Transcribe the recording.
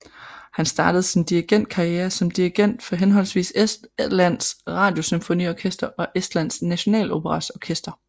Han startede sin dirigentkarriere som dirigent for henholdsvis Estlands Radiosymfoniorkester og Estland Nationaloperas orkester